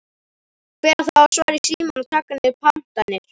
Hver á þá að svara í símann og taka niður pantanir?